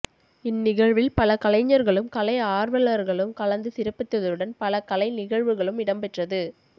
இவ் நிகழ்வில் பல கலைஞர்களும் கலை ஆர்வலர்களும் கலந்து சிறப்பித்ததுடன் பல கலை நிகழ்வுகளும் இடம்பெற்றது